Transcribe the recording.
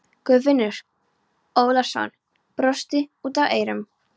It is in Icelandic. Guðfinnur Ólafsson brosti út að eyrum.